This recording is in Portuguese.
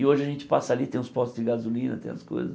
E hoje a gente passa ali, tem os postos de gasolina, tem as coisas.